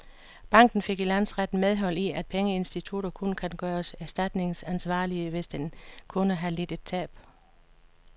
Banken fik i landsretten medhold i, at pengeinstitutter kun kan gøres erstatningsansvarlige, hvis en kunde har lidt et tab.